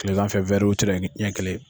kilegan fɛ ɲɛ kelen.